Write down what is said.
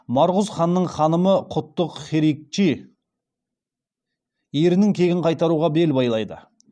марғұз ханның ханымы құттық херикчи ерінің кегін қайтаруға бел байлайды